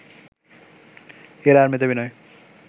এরা আর মেধাবী নয়